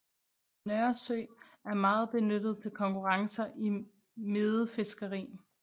Nørresø er meget benyttet til konkurrencer i medefiskeri